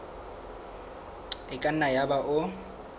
e ka nna yaba o